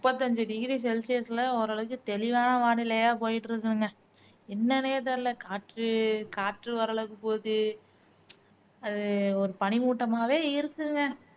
முப்பத்து அஞ்சு degree celsius ல ஒரளவுக்கு தெளிவான வானிலையா போயிட்டு இருக்குங்க என்னன்னே தெரியல காற்று காற்று ஒரளவுக்கு போகுது ஒரு பனிமூட்டமாவே இருக்குதுங்க